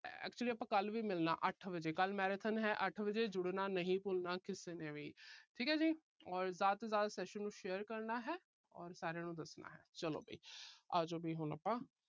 actually ਆਪਾ ਕੱਲ੍ਹ ਵੀ ਮਿਲਣਾ ਅੱਠ ਵਜੇ। ਕੱਲ੍ਹ marathon ਹੈ ਅੱਠ ਵਜੇ। ਜੁੜਨਾ ਨਹੀਂ ਭੁੱਲਣਾ ਕਿਸੇ ਨੇ ਵੀ। ਠੀਕ ਐ ਜੀ। ਔਰ ਜਿਆਦਾ ਤੋਂ ਜਿਆਦਾ session ਨੂੰ share ਕਰਨਾ ਹੈ ਔਰ ਸਾਰਿਆਂ ਨੂੰ ਦੱਸਣਾ ਹੈ। ਚਲੋ ਵੀ। ਆ ਜੋ ਵੀ ਹੁਣ ਆਪਾ